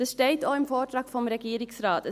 Das steht auch im Vortrag des Regierungsrates.